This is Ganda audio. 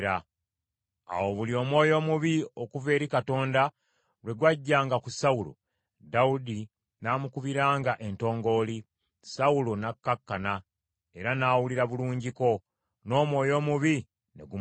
Awo buli omwoyo omubi okuva eri Katonda lwe gw’ajjanga ku Sawulo, Dawudi n’amukubiranga entongooli, Sawulo n’akkakkana, era n’awulira bulungiko, n’omwoyo omubi ne gumuvaako.